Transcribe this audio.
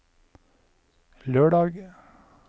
lørdag